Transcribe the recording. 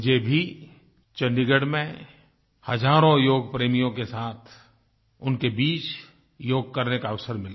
मुझे भी चंडीगढ़ में हजारों योग प्रेमियों के साथ उनके बीच योग करने का अवसर मिला